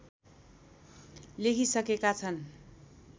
लेखिसकेका छन्